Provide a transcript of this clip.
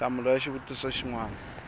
nhlamulo ya xivutiso xin wana